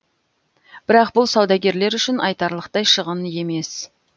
бірақ бұл саудагерлер үшін айтарлықтай шығын емес